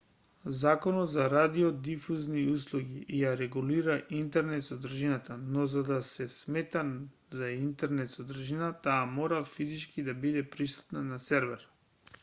законот за радиодифузни услуги ја регулира интернет-содржината но за да се смета за интернет-содржина таа мора физички да биде присутна на сервер